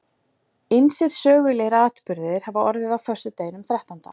Ýmsir sögulegir atburðir hafa orðið á föstudeginum þrettánda.